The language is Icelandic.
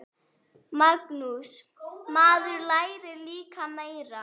Magnús: Maður lærir líka meira.